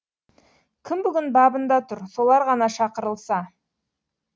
кім бүгін бабында тұр солар ғана шақырылса